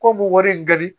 Ko bu wari in gili